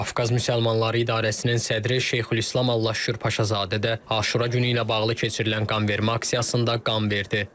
Qafqaz Müsəlmanları İdarəsinin sədri Şeyxülislam Allahşükür Paşazadə də Aşura günü ilə bağlı keçirilən qanvermə aksiyasında qan verdi.